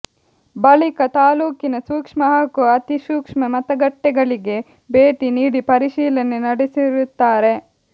ಬಳಿಕ ತಾಲೂಕಿನ ಸೂಕ್ಷ್ಮ ಹಾಗೂ ಅತಿ ಸೂಕ್ಷ್ಮ ಮತಗಟ್ಟೆಗಳಿಗೆ ಭೇಟಿ ನೀಡಿ ಪರಿಶೀಲನೆ ನಡೆಸಿರುತ್ತಾರೆ